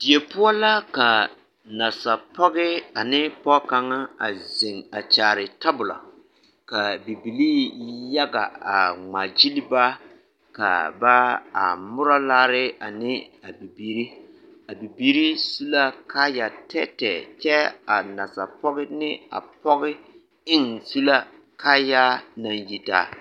Die poɔ la ka nasapɔge ane pɔge kaŋa a zeŋ a kyaare tabolo, k'a bibilii yaga a ŋmaa gili ba ka ba a morɔ laare ane a bibiiri, a bibiiri su la kaaya tɛɛtɛɛ kyɛ a nasapɔge ne a pɔge eŋ su la kaayaa naŋ yitaa.